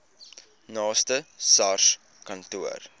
naaste sars kantoor